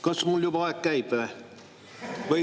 Kas mul juba aeg käib või?